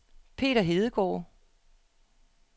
Peter Hedegaard